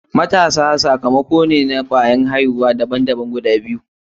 Matasan sakamako ne na kwayar aihuwa daban daban guda biyu.